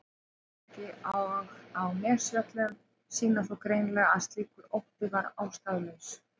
Svartsengi og á Nesjavöllum sýna þó greinilega að slíkur ótti var ástæðulaus.